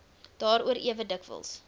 daaroor ewe dikwels